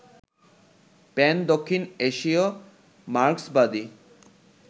প্যান-দক্ষিণ এশীয় মার্ক্সবাদী